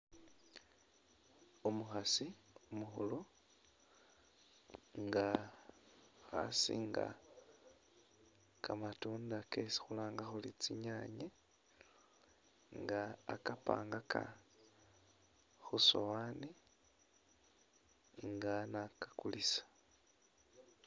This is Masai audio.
Umukhasi umukhulu nga khasiinga kamatunda kesi khulanga khuri tsinyaanye nga akapangaka khu sowaani nga na akakulisa.